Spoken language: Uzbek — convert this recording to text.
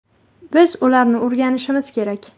Biz ularni o‘rganishimiz kerak.